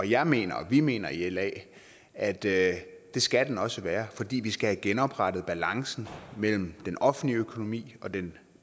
jeg mener og vi mener i la at det skal den også være fordi vi skal genoprette balancen mellem den offentlige økonomi og den